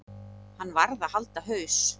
Hann varð að halda haus.